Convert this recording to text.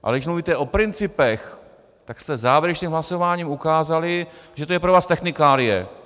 Ale když mluvíte o principech, tak jste závěrečným hlasováním ukázali, že to je pro vás technikálie.